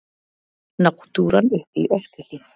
Náttúran uppi í Öskjuhlíð.